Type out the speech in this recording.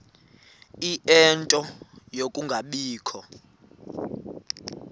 ie nto yokungabikho